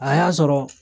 A y'a sɔrɔ